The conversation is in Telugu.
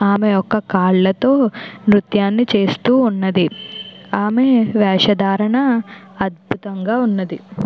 ఆమె ఒక కాళ్లతో నృత్యాన్ని చేస్తూ ఉన్నది. ఆమె వేషధారణ అద్భుతంగా ఉన్నది.